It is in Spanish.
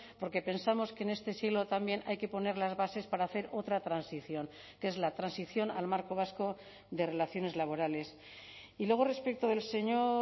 porque pensamos que en este siglo también hay que poner las bases para hacer otra transición que es la transición al marco vasco de relaciones laborales y luego respecto del señor